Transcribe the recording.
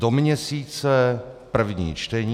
Do měsíce první čtení.